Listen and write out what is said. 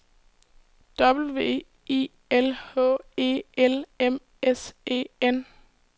W I L H E L M S E N